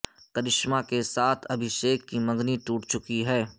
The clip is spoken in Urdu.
کرشمہ کے ساتھ ابھیشیک کی منگنی ٹوٹ چکی ہے